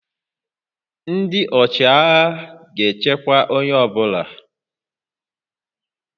Ndị ọchịagha ga-echekwa onye ọ bụla